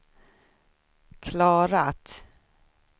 klarat